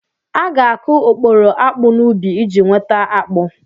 A ga-akụ okporo akpụ n'ubi iji nweta akpụ.